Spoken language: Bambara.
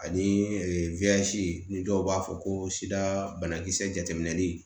Ani ni dɔw b'a fɔ ko sida banakisɛ jateminɛli